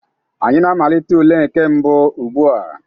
Anyị na-amalite ule nke mbụ ugbu a.